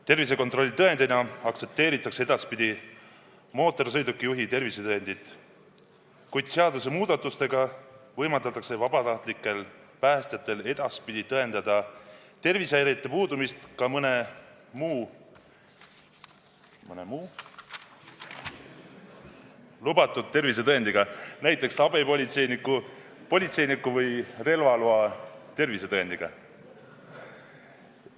Tervisekontrolli tõendina aktsepteeritakse edaspidi mootorsõidukijuhi tervisetõendit, kuid seadusemuudatustega võimaldatakse vabatahtlikel päästjatel edaspidi tõendada tervisehäirete puudumist ka mõne muu tervisetõendiga, näiteks abipolitseiniku, politseiniku või relvaloa omaniku tervisetõendiga.